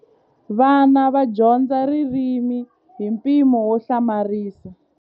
Vana va dyondza ririmi hi mpimo wo hlamarisa.